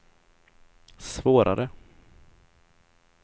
svårare